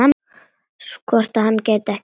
Hvort hann gæti ekki skipt?